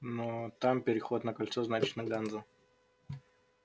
но там переход на кольцо значит на ганзу